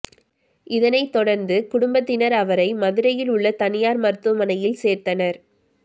இதனை தொடர்ந்து குடும்பத்தினர் அவரை மதுரையில் உள்ள தனியார் மருத்துவமனையில் சேர்த்தனர்